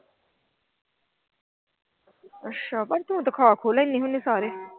ਅੱਛਾ ਪਰ ਤੂੰ ਤਾਂ ਖਾ ਖੂ ਲੈਂਦੀ ਹੁੰਦੀ ਆ ਸਾਰੇ।